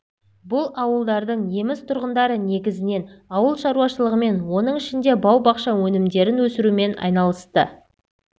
бұл ауылдардың неміс тұрғындары негізінен ауыл шаруашылығымен оның ішінде бау-бақша өнімдерін өсірумен айналысты